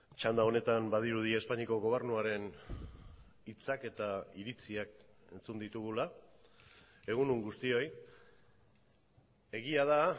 txanda honetan badirudi espainiako gobernuaren hitzak eta iritziak entzun ditugula egun on guztioi egia da